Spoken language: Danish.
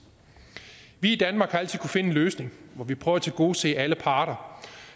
vi i danmark har altid finde en løsning hvor vi prøver at tilgodese alle parter